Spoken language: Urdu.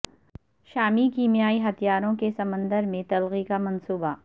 شامی کیمیائی ہتھیاروں کی سمندر میں تلفی کا منصوبہ